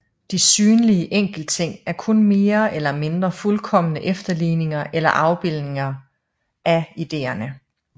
De synlige enkeltting er kun mere eller mindre fuldkomne efterligninger eller afbildninger af ideerne